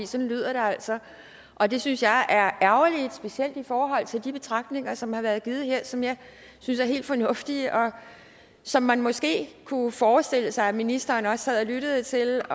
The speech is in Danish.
sådan lyder det altså og det synes jeg er ærgerligt specielt i forhold til de betragtninger som har været givet her som jeg synes er helt fornuftige og som man måske kunne forestille sig at ministeren også havde lyttet til